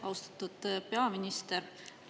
Austatud peaminister!